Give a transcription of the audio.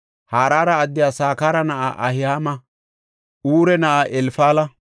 Harara addiya Sakara na7a Ahi7aama, Ure na7aa Elfala,